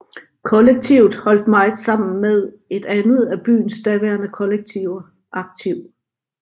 Kollektivet holdt meget sammen med et andet af byens daværende kollektiver Aktiv